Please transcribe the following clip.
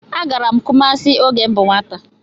Agara m Kumasi oge m bú nwata.